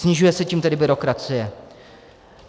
Snižuje se tím tedy byrokracie.